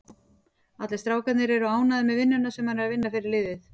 Allir strákarnir eru ánægður með vinnuna sem hann er að vinna fyrir liðið.